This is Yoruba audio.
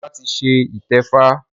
Ọlá ti ṣe ìtẹ́fá